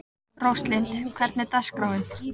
Róslind, hvernig er dagskráin?